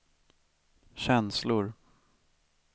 känslor